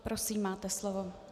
Prosím, máte slovo.